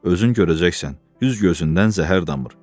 Özün görəcəksən, üz gözündən zəhər damır.